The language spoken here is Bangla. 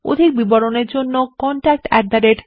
অধিক বিবরণের জন্য contactspoken tutorialorg তে ইমেল করুন